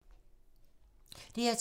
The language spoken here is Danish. DR2